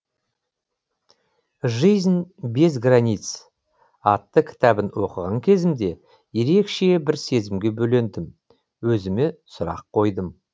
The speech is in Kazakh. жизнь без границ атты кітабын оқыған кезімде ерекше бір сезімге бөлендім өзіме сұрақ қойдым